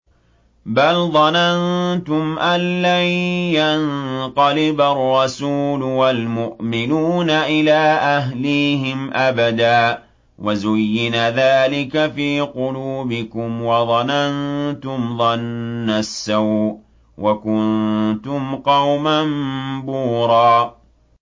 بَلْ ظَنَنتُمْ أَن لَّن يَنقَلِبَ الرَّسُولُ وَالْمُؤْمِنُونَ إِلَىٰ أَهْلِيهِمْ أَبَدًا وَزُيِّنَ ذَٰلِكَ فِي قُلُوبِكُمْ وَظَنَنتُمْ ظَنَّ السَّوْءِ وَكُنتُمْ قَوْمًا بُورًا